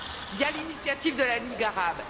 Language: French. Il y a l'initiative de la Ligue arabe.